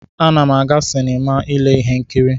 Ana m aga sinima ile ihe nkiri.